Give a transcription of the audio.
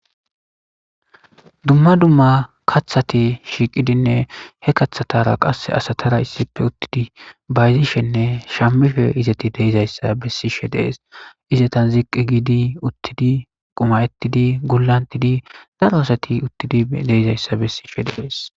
dumma dumma kaththati shiiqidinne he kathatara qasse asatara issife uttidi bayzishenne shammife izati deizayssa bessishe deees izatan ziqqi giidi uttidi qumayettidi gulantidi daro asati uttidi deizayssa bessishe dees